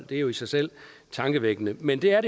det er jo i sig selv tankevækkende men det er